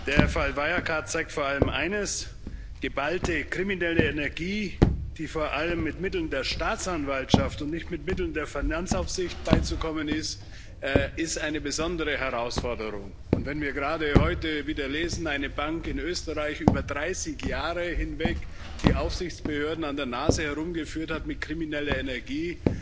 Der Fall Wirecard zeigt vor allem eines Geballte kriminelle Energie, der vor allem mit Mitteln der Staatsanwaltschaft und nicht mit Mitteln der Finanzaufsicht beizukommen ist, ist eine besondere Herausforderung. Wenn wir gerade heute wieder lesen, dass eine Bank in Österreich über 30 Jahre hinweg die Aufsichtsbehörden an der Nase herumgeführt hat mit krimineller Energie